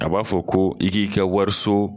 A b'a fɔ ko i k'i ka wariso